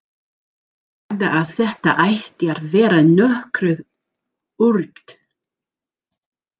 Þú sagðir að þetta ætti að vera nokkuð öruggt.